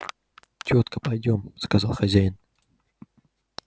тётка пойдём сказал хозяин